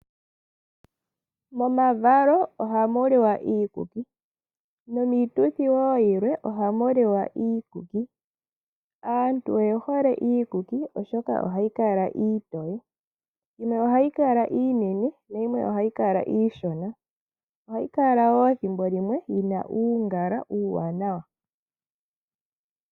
Momavalo oha mu liwa iikuki. Nomiituthi woo yilwe oha mu liwa iikuki. Aantu oye hole iikuki oshoka ohayi kala iitoye. Yimwe ohayi kala iinene nayimwe ohayi kala iishona. Ohayi kala woo thimbo limwe yina uungala uuwanawa.